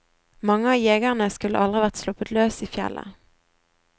Mange av jegerne skulle aldri vært sluppet løs i fjellet.